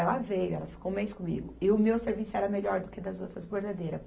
Ela veio, ela ficou um mês comigo e o meu serviço era melhor do que das outras bordadeiras.